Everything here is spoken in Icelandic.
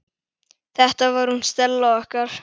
Þetta var hún Stella okkar.